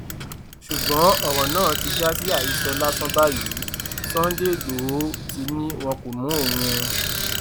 ṣùgbọn ọrọ náà ti já sí àhesọ lásán báyìí sunday igbodò ti ní wọn kò mú òun o